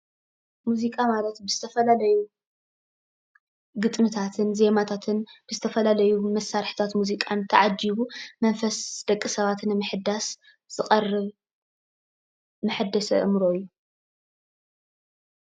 ሙዚቃ ማለት ብዝተፈላለዩ ግጥምታትን ዜማታትን ብዝተፈላለዩ መሳርሕታት ሙዚቃን ተዓጂቡ መንፈስ ደቂ ሰባት ንምሕዳስ ዝቐርብ መሐደሲ ኣእምሮ እዩ።